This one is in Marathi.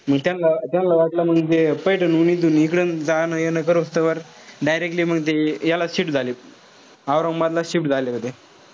मी त्यान्ला त्यान्ला वाटलं म्हणजे पैठणहून इथून इकडून जण-येन करोसतेवर directly मंग ते याला shift झाले. औरंगाबादला shift झाले.